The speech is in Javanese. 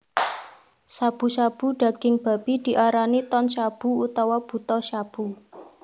Shabu shabu daging babi diarani Tonshabu utawa Butashabu